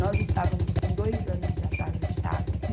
Nós estávamos com dois anos de atraso de água.